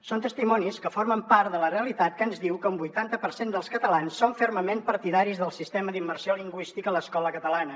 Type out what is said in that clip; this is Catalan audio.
són testimonis que formen part de la realitat que ens diu que un vuitanta per cent dels catalans són fermament partidaris del sistema d’immersió lingüística a l’escola catalana